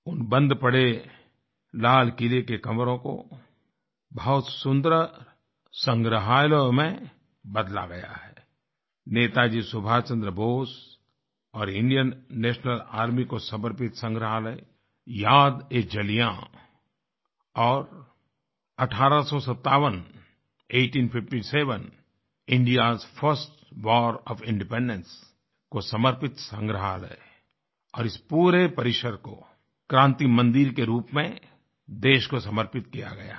उन बंद पड़े लाल किले के कमरों को बहुत सुन्दर संग्रहालयों में बदला गया है नेताजी सुभाष चन्द्र बोस और इंडियन नेशनल आर्मी को समर्पित संग्रहालय यादएजलियां और 1857 आइटीन फिफ्टी सेवेन indiaएस फर्स्ट वार ओएफ इंडिपेंडेंस को समर्पित संग्राहलय और इस पूरे परिसर को क्रान्ति मन्दिर के रूप में देश को समर्पित किया गया है